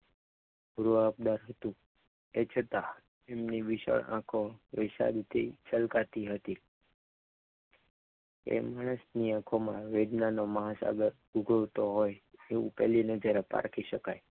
રુવાબદાર હતું તે છતાં એમની વિશાળ આંખો વિશાળથી છલકાતી હતી તેમની આંખોમાં વેદના નો મહાસાગર ઉભરતો હોય તેવું કલીના નજરને પારખી શકાય.